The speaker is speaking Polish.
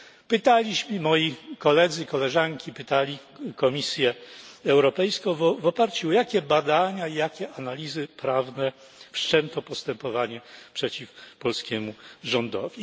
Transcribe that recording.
Pytaliśmy, moi koledzy i koleżanki pytali Komisję Europejską, w oparciu o jakie badania i jakie analizy prawne wszczęto postępowanie przeciw polskiemu rządowi.